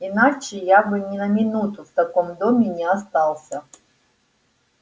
иначе я бы ни на минуту в таком доме не остался